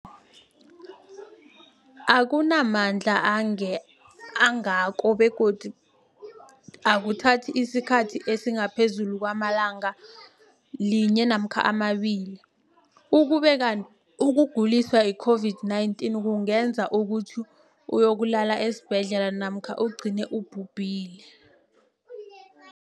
akuna mandla angako begodu akuthathi isikhathi esingaphezulu kwelanga linye namkha mabili, ukube kanti ukuguliswa yi-COVID-19 kungenza ukuthi uyokulala esibhedlela namkha ugcine ubhubhile.